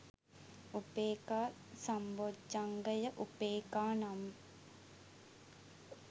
උපෙක්ඛා සම්බොජ්ක්‍ධංගය උපේක්ඛා නම්